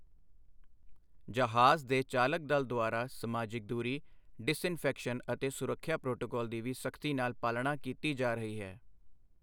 ਜਹਾਜ਼ ਦੇ ਚਾਲਕ ਦਲ ਦੁਆਰਾ ਸਮਾਜਿਕ ਦੂਰੀ, ਡਿਸਇੰਫੈਕਸ਼ਨ ਅਤੇ ਸੁਰਖਿਆ ਪ੍ਰੋਟੋਕੋਲ ਦੀ ਵੀ ਸਖ਼ਤੀ ਨਾਲ ਪਾਲਣਾ ਕੀਤੀ ਜਾ ਰਹੀ ਹੈ।